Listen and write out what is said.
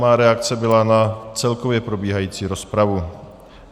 Má reakce byla na celkově probíhající rozpravu.